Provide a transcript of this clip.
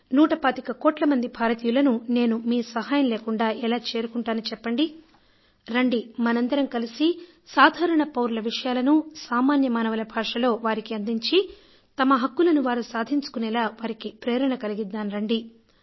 నూట పాతిక కోట్ల మంది భారతీయులను నేను మీ సహాయం లేకుండా ఎలా చేరుకుంటాను చెప్పండి రండి మనందరం కలిసి సాధారణ పౌరుల విషయాలను సామాన్య మానవుల భాషలో వారికి అందించి తమ హక్కులను వారు సాధించుకునేలా వారికి ప్రేరణ కలిగిద్దాం రండి